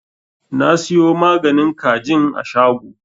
Na siyo maganin kajin a shago.